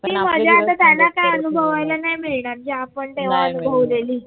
ती मजा आता त्यांना काही अनुभवायला नाही मिळणार जे आपण तेव्हा अनुभवलेली